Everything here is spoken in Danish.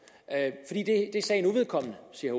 det er sagen uvedkommende siger